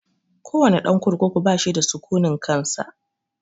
Ko wane ɗan kurkuku bashi da sukunin kansa